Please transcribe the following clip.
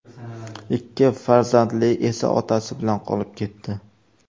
Ikki farzandi esa otasi bilan qolib ketdi.